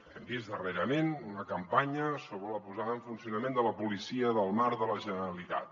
hem vist darrerament una campanya sobre la posada en funcionament de la policia del mar de la generalitat